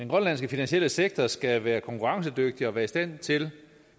grønlandske finansielle sektor skal være konkurrencedygtig og være i stand til